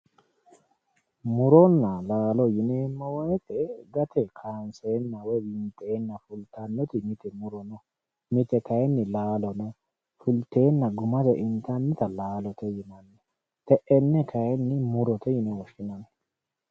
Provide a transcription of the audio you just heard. Muronna laalo yineemmo woyiite gate kaanseenna woy winxeenna fultannoti muro no mite kayiinni laalo no fulteenna gumano intannita laalote yinanni te'enne kayiinni murote yine woshshinanni